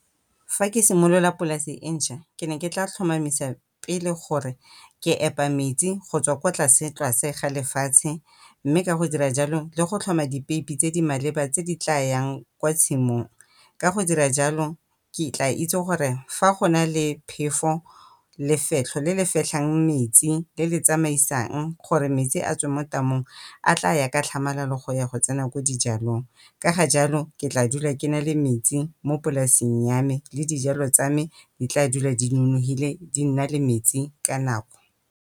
Fa ke simolola polase e ntšhwa ke ne ke tla tlhomamisa pele gore ke epa metsi go tswa kwa tlase-tlase ga lefatshe, mme ka go dira jalo le go tlhoma dipeipi tse di maleba tse di tlayang kwa tshimong. Ka go dira jalo ke tla itse gore fa go na le phefo, lefetlho le le fetlhang metsi le le tsamaisang gore metsi a tswe mo tamong a tlaya ka tlhamalalo go ya go tsena ko dijalong. Ka ga jalo ke tla dula ke nale metsi mo polaseng ya me le dijalo tsa me di tla dula di nonofile di nna le metsi ka nako.